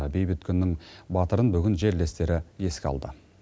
бейбіт күннің батырын бүгін жерлестері еске алды